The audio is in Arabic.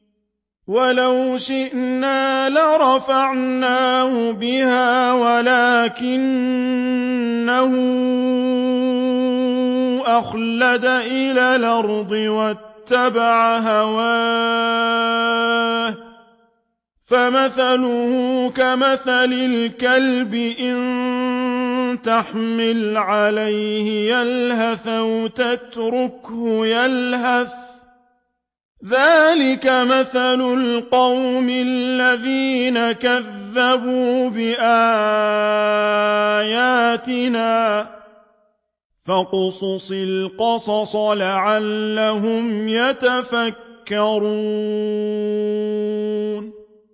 وَلَوْ شِئْنَا لَرَفَعْنَاهُ بِهَا وَلَٰكِنَّهُ أَخْلَدَ إِلَى الْأَرْضِ وَاتَّبَعَ هَوَاهُ ۚ فَمَثَلُهُ كَمَثَلِ الْكَلْبِ إِن تَحْمِلْ عَلَيْهِ يَلْهَثْ أَوْ تَتْرُكْهُ يَلْهَث ۚ ذَّٰلِكَ مَثَلُ الْقَوْمِ الَّذِينَ كَذَّبُوا بِآيَاتِنَا ۚ فَاقْصُصِ الْقَصَصَ لَعَلَّهُمْ يَتَفَكَّرُونَ